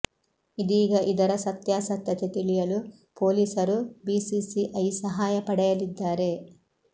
ಇದೀಗ ಇದರ ಸತ್ಯಾ ಸತ್ಯತೆ ತಿಳಿಯಲು ಪೊಲೀಸರು ಬಿಸಿಸಿಐ ಸಹಾಯ ಪಡೆಯಲಿದ್ದಾರೆ